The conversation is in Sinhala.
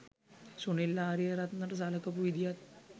සුනිල් ආරියරත්නට සලකපු විදියත්